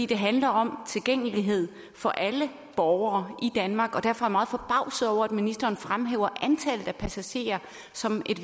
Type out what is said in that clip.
det handler om tilgængelighed for alle borgere i danmark og derfor er jeg meget forbavset over at ministeren fremhæver antallet af passagerer som et